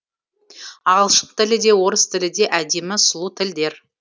ағылшын тілі де орыс тілі де әдемі сұлу тілдер